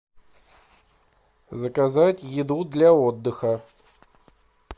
заказать еду для отдыха